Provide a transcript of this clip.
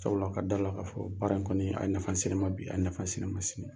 Sabula ka da la ka fɔ baara in kɔni ?a ye nafa se ne ma bi, a ye nafa se ne ma sini.